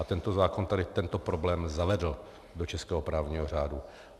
A tento zákon tady tento problém zavedl do českého právního řádu.